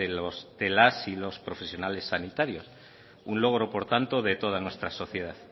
de los y las profesionales sanitarios un logro por tanto de toda nuestra sociedad